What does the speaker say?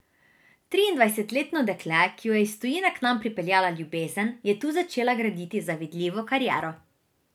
Triindvajsetletno dekle, ki jo je iz tujine k nam pripeljala ljubezen, je tu začela graditi zavidljivo kariero.